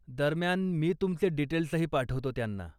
दरम्यान, मी तुमचे डीटेल्सही पाठवतो त्यांना.